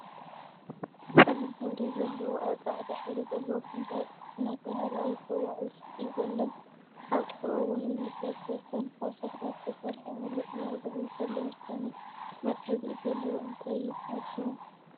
ፀሊም ሕብሪ ዘለዎ ኣብ ፃዕዳ ሕብሪ ዘለዎ ፍንጃል እናተባህለ ኣብ ዝፅዋዕ ውሽጢ ዘሎን ኣብ ጥቅኡ እውን ዝፈሰሰን ካብ ሸክላ ዝተሰረሐ ምለእ ብሙእ ፀሊም ዝኮነ መትሐዚ ኢድ ዘለዎ እንታይ ይብሃል ሽሙ?